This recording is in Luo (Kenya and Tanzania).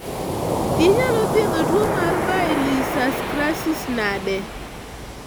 Inyalo thiedho tuo mar Baylisascaris nade?